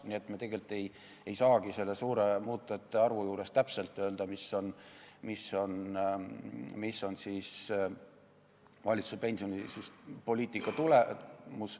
Nii et me tegelikult ei saagi sellise suure muutujate arvu tõttu täpselt öelda, mis on valitsuse pensionipoliitika tulemus.